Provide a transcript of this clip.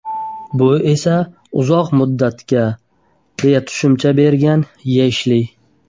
Bu esa uzoq muddatga”, deya tushuncha bergan Eshli.